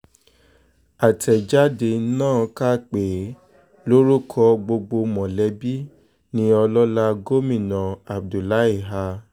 àtẹ̀jáde náà kà pé lórúkọ gbogbo mọ̀lẹ́bí ni ọlọ́lá gómìnà abdullahi a